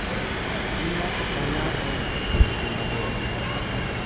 Gi ng’ato ka ng’ato e kindgi mabor.